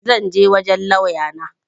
zan je wajen lauya na